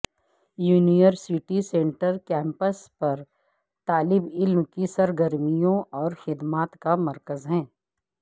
university centre campus پر طالب علم کی سرگرمیوں اور خدمات کا مرکز ہے